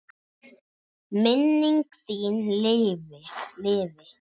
Minning þín lifi.